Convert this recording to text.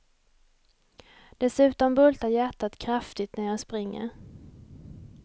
Dessutom bultar hjärtat kraftigt när jag springer.